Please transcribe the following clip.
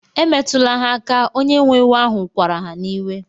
Emetụla ha aka! onye nwe ewu ahu kwara ha n'iwe.